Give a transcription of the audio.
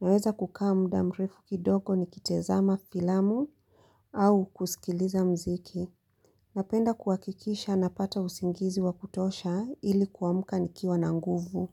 naweza kukaa muda mrefu kidogo nikitezama filamu au kusikiliza mziki. Napenda kuhakikisha napata usingizi wakutosha ili kuamka nikiwa na nguvu.